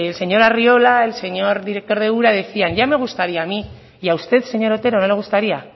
señor arriola el señor director de ura decían ya me gustaría a mí y a usted señor otero no le gustaría